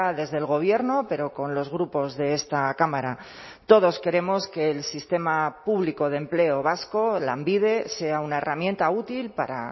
desde el gobierno pero con los grupos de esta cámara todos queremos que el sistema público de empleo vasco lanbide sea una herramienta útil para